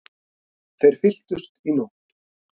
Þeir fylltust í nótt.